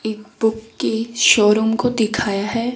एक बुक के शोरूम को दिखाया है।